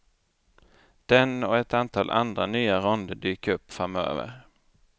Den och ett antal andra nya ronder dyker upp framöver.